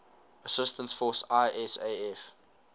assistance force isaf